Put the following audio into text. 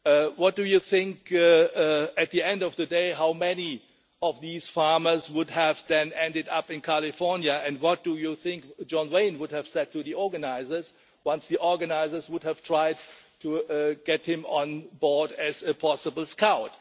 What do you think at the end of the day, how many of these farmers would have then ended up in California, and what do you think John Wayne would have said to the organisers, once the organisers would have tried to get him on board as a possible scout?